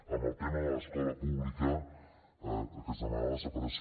en el tema de l’escola pública que es demanava la separació